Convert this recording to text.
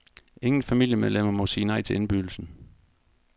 Ingen familiemedlemmer må sige nej til indbydelsen.